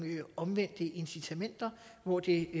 omvendte incitamenter hvor det